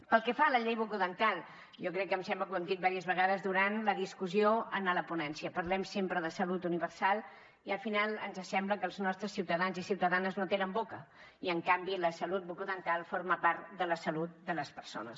pel que fa a la llei bucodental jo crec que em sembla que ho hem dit diverses vegades durant la discussió en la ponència parlem sempre de salut universal i al final ens sembla que els nostres ciutadans i ciutadanes no tenen boca i en canvi la salut bucodental forma part de la salut de les persones